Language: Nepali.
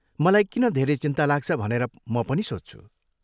मलाई किन धेरै चिन्ता लाग्छ भनेर म पनि सोच्छु।